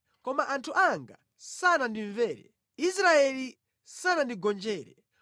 “Koma anthu anga sanandimvere; Israeli sanandigonjere.